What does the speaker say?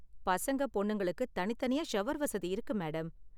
பசங்க பொண்ணுங்களுக்கு தனித் தனியா ஷவர் வசதி இருக்கு, மேடம்.